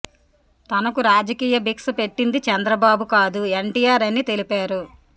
తనకు రాజకీయ భిక్ష పెట్టింది చంద్రబాబు కాదు ఎన్టీఆర్ అని తెలిపారు